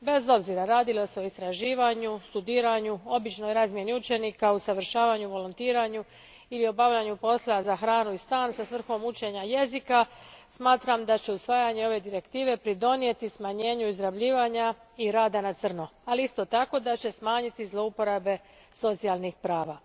Bez obzira radi li se o istraživanju, studiranju, običnoj razmjeni učenika, usavršavanju, volontiranju ili obavljanju posla za hranu i stan sa svrhom učenja jezika, smatram da će usvajanje ove direktive doprinijeti smanjenju izrabljivanja i rada na crno, ali isto tako da će smanjiti zloporabe socijalnih prava.